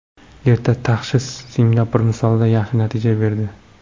Erta tashxis Singapur misolida yaxshi natija berdi.